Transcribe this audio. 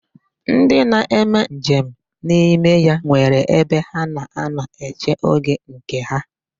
Ndi na-eme nje m n'ime ya nwere ebe ha na-anọ eche oge nke ha.